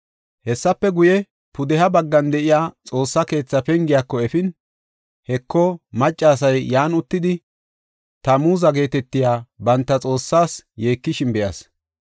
Hessafe guye, pudeha baggan de7iya Xoossa keethaa pengiyako efin, Heko, maccasay yan uttidi, Tamuuza geetetiya banta xoossas yeekishin be7as.